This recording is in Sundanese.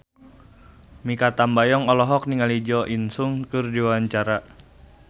Mikha Tambayong olohok ningali Jo In Sung keur diwawancara